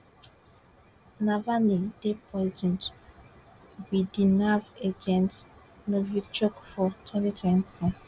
navani dey poisoned wit di nerve agent novichok for twenty twenty